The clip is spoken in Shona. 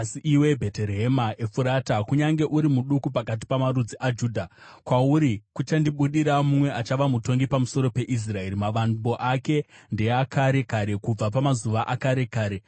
“Asi iwe, Bheterehema Efurata, kunyange uri muduku pakati pamarudzi aJudha, kwauri kuchandibudira mumwe achava mutongi pamusoro peIsraeri, mavambo ake ndeakare kare, kubva pamazuva akare kare.”